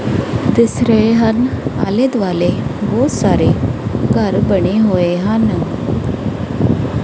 ਦਿਸ ਰਹੇ ਹਨ ਆਲੇ ਦੁਆਲੇ ਬਹੁਤ ਸਾਰੇ ਘਰ ਬਣੇ ਹੋਏ ਹਨ।